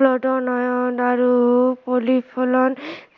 protein, iron আৰু